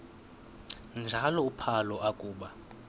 njalo uphalo akuba